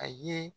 A ye